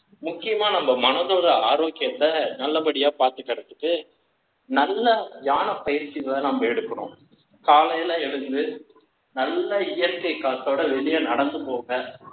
முக்கியமா, நம்ம மனதோட ஆரோக்கியத்தை, நல்லபடியா பார்த்துக்கிறதுக்கு, நல்ல தியான பயிற்சிகளை, நாம எடுக்கணும். காலையில எழுந்து, நல்ல இயற்கை காத்தோட, வெளிய நடந்து போங்க.